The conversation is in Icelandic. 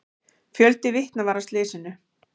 Fjöldi vitna var að slysinu.